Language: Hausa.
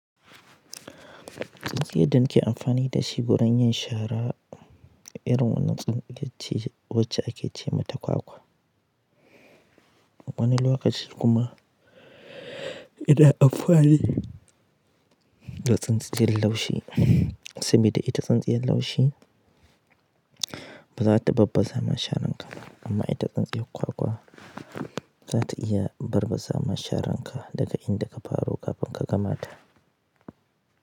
Tsintsiyar da ake amfani da shi gurin yin shara, irin wannan tsintsiyarce wacce ake ce mata kwakwa. Wannan lokacin kuma ina amfani da tsintsiyar laushi, saboda ita tsintsiyar laushi ba za ta babbazama shararka, amma ita tsintsiyar kwakwa za ta iya barbazama sharan ka daga inda ka faro kafin ka gamata.